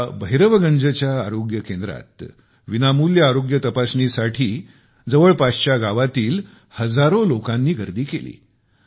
या भैरवगंज आरोग्य केंद्रात विनामूल्य आरोग्य तपासणीसाठी जवळपासच्या गावातील हजारो लोकांनी गर्दी केली